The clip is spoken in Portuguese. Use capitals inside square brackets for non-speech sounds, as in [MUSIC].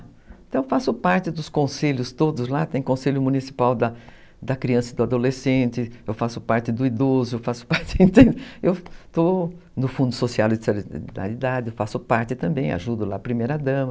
Então eu faço parte dos conselhos todos lá, tem conselho municipal da da criança e do adolescente, eu faço parte do idoso, [LAUGHS] eu faço parte, eu estou no Fundo Social de Solidariedade, eu faço parte também, ajudo lá a primeira-dama.